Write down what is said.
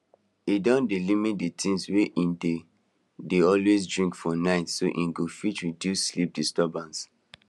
he don dey limit the things wey he dey dey always drink for night so e go fit reduce sleep disturbance